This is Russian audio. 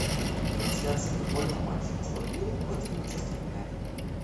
трансляция футбольного матча астон вилла против манчестер юнайтед